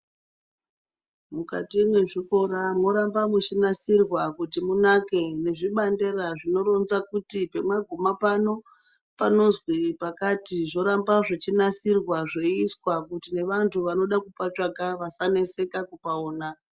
Mukati mwe zvikora moramba muchi nasirwa kuti munake nezvi bandera zvino ronza kuti pama guma pano panozwi pakati zvoramba zvichi nasirwa zveizwa kuti ne vantu vanoda kupa tsvaka vasa neseka kupaona.